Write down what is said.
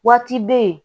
Waati bɛ yen